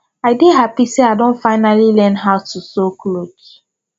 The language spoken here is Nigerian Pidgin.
i dey happy say i don finally learn how to sew cloth